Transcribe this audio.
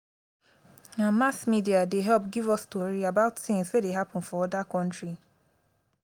na mass media dey help give us tori about tins wey happen for oda county.